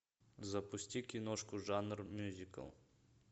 запусти киношку жанр мюзикл